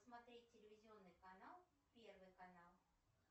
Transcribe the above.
смотреть телевизионный канал первый канал